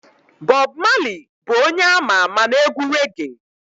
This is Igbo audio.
Bob Marley bụ onye ama ama na-egwu reggae